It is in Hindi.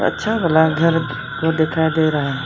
अच्छा वाला घर को दिखाई दे रहा है।